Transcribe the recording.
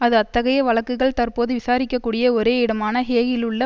அது அத்தகைய வழக்குகள் தற்போது விசாரிக்க கூடிய ஒரே இடமான ஹேகிலுள்ள